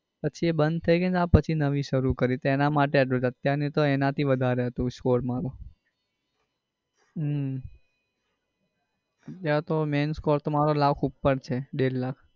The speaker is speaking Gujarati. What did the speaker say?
પછી એ બંધ થઇ ગઈ ને પછી નવી શરૂ કરી તો એના માટે એટલું છે નઈ તો એના થી વધારે હતો score મારો હમ અત્યારે તો main score મારો લાખ ઉપર છે ડેઢ લાખ.